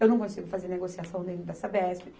Eu não consigo fazer negociação dentro da Sabespe.